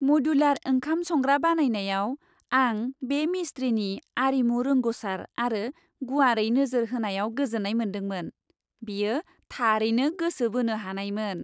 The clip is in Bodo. मडुलार ओंखाम संग्रा बानायनायाव आं बे मिस्थ्रिनि आरिमु रोंग'सार आरो गुवारै नोजोर होनायाव गोजोन्नाय मोन्दोंमोन। बेयो थारैनो गोसो बोनो हानायमोन।